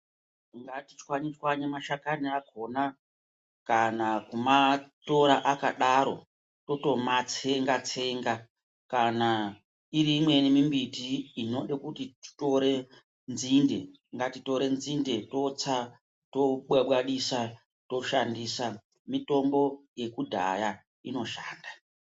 Ngatitswanye-tswanye mashakani akona, kana kumatora akadaro totomatsenga-tsenga. Kana iri imweni mimbiti inode kuti titore nzinde, ngatitore nzinde totsa tobwabwatisa toshandisa mitombo yekudhaya inoshanda.